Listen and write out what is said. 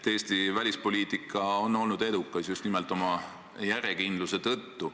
Eesti välispoliitika on olnud edukas just nimelt oma järjekindluse tõttu.